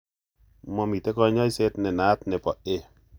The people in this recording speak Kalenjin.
Momitei kanyoiset nenaat nebo A